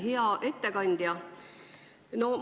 Hea ettekandja!